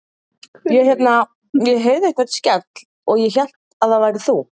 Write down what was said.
Ég hérna. ég heyrði einhvern skell og hélt að það værir þú.